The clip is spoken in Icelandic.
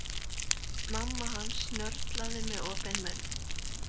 Mamma hans snörlaði með opinn munn.